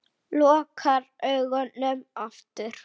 Lokar augunum aftur.